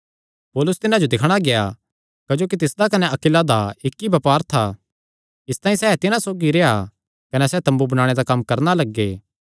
पौलुस तिन्हां जो दिक्खणा गेआ क्जोकि तिसदा कने अक्विला दा इक्क ई बपार था इसतांई सैह़ तिन्हां सौगी रेह्आ कने सैह़ तम्बू बणाणे दा कम्म करणा लग्गे